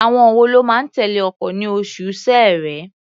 Àwọn wo ló máa tẹ̀lé ọkọ̀ ní oṣù Ṣẹẹrẹ?